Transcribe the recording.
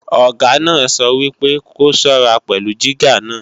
Ọ̀gá náà sọ wípé ko ṣọ́ra pẹ̀lú jígà náà!